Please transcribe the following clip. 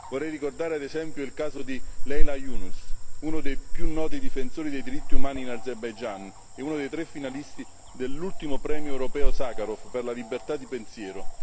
Vorrei ricordare ad esempio il caso di Leila Younis, uno dei più noti difensori dei diritti umani in Azerbaigian e uno dei tre finalisti dell'ultimo premio europeo Sakharov per la libertà di pensiero.